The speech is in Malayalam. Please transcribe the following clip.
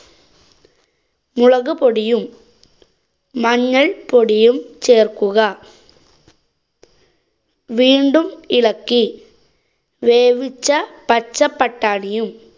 മുളകുപൊടിയും മഞ്ഞള്‍പ്പൊടിയും ചേര്‍ക്കുക. വീണ്ടും ഇളക്കി വേവിച്ച പച്ചപട്ടാണിയും